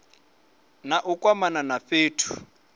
na u kwamana na fhethu